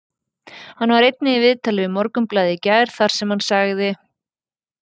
Hann var einnig í viðtali við Morgunblaðið í gær þar sem hann sagði: